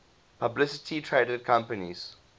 publicly traded companies